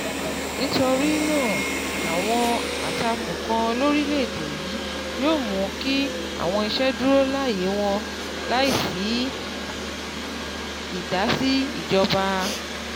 Nítorí náà, àwọn àtakò kan lórìlẹ́èèdè yìí yóò mú kí àwọn iṣẹ́ dúró láyè wọn láì sí ìdàsí ìjọba.